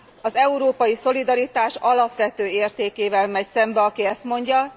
Az európai szolidaritás alapvető értékével megy szembe, aki ezt mondja.